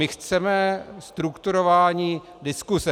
My chceme strukturování diskuse.